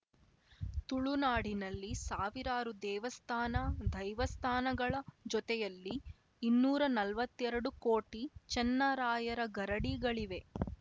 ತುಳುನಾಡಿನಲ್ಲಿ ಸಾವಿರಾರು ದೇವಸ್ಥಾನ ದೈವಸ್ಥಾನಗಳ ಜೊತೆಯಲ್ಲಿ ಇನ್ನೂರ ನಲ್ವತ್ತೆರಡು ಕೋಟಿ ಚೆನ್ನರಾಯರ ಗರಡಿಗಳಿವೆ